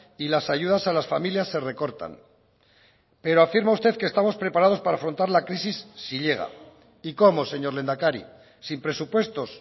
y las ayudas a las familias se recortan pero afirma usted que estamos preparados para afrontar la crisis si llega y cómo señor lehendakari sin presupuestos